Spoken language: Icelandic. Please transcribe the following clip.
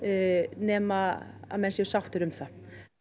nema að menn séu sáttir um það